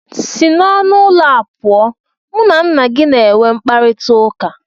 Si n'ọnụ ụlọ a pụọ, mụ na nna gị na-enwe mkparịtaụka!!!